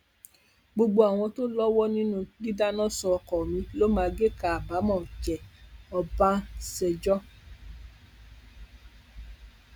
gbogbo àwọn tó lọwọ nínú dídáná sun ọkọ mi ló máa géka àbámọ jẹ ọbànṣèjọ